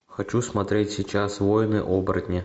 хочу смотреть сейчас воины оборотни